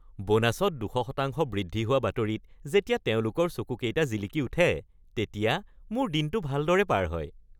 বোনাছত ২০০% বৃদ্ধি হোৱা বাতৰিত যেতিয়া তেওঁলোকৰ চকুকেইটা জিলিকি উঠে তেতিয়া মোৰ দিনটো ভালদৰে পাৰ হয়।